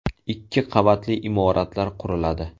Ikki qavatli imoratlar quriladi.